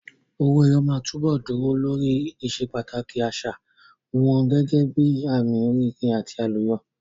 Owó ẹyọ máa túbọ̀ dúró lórí ìsepàtàkì àṣà wọn gẹ́gẹ́ bíi àmì oríire àti àlùyọ.